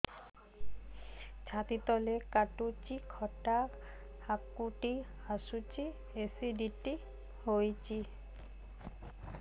ଛାତି ତଳେ କାଟୁଚି ଖଟା ହାକୁଟି ଆସୁଚି ଏସିଡିଟି ହେଇଚି